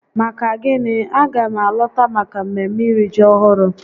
Maka gịnị? a ga m alọta maka mmemme iri ji ọhụrụ